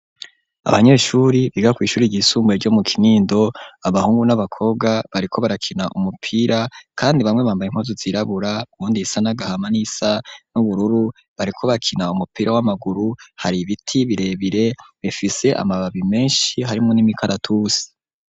Abanyeshuri biga kw'ishuri ryisumbuye ryo mu Kinindo abahungu n'abakobwa bariko barakina umupira kandi bamwe bambaye impuzu zirabura wundi isa n'agahama nisa n'ubururu bariko bakina umupira w'amaguru hari ibiti birebire bifise amababi meshi harimwo n'imikaratusi.